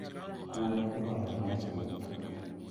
Kuon idwalo machiek